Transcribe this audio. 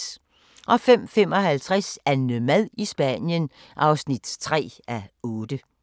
05:55: AnneMad i Spanien (3:8)